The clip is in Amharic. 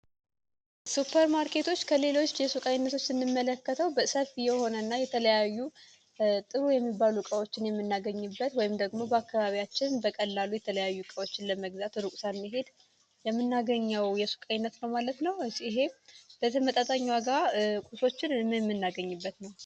ሱፐርማርኬቶች ከሌሎች የሱቃ አይነቶች እንመለከተው በሰፍ የሆነ እና የተለያዩ ጥሩ የሚባሉ ቃዎችን የሚናገኝበት ወይም ደግሞ በአካባቢያችን በቀላሉ የተለያዩ እቃዎችን ለመግዛት እሩቅ ሳንሔድ የምናገኘው የሱቅ አይነት ነው። ማለት ነው እጽሄ በተመጣጣኛ ጋር ቁሶችን የምናገኝበት ነው።